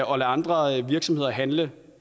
andre virksomheder handle